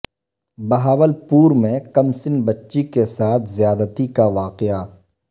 بہاولپورمیں کم سن بچی کے ساتھ زیادتی کا واقعہ